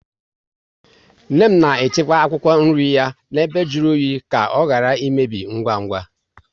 Nne m na echekwa akwụkwọ nri ya na ebe jụrụ oyi ka ọ ghara imebi ngwa ngwa